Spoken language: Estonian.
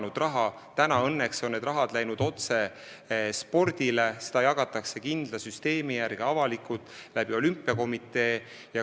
Nüüd läheb see raha õnneks otse spordile, seda jagatakse kindla süsteemi järgi avalikult olümpiakomitee kaudu.